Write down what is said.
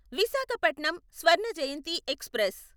Visakhapatnam Swarna Jayanti express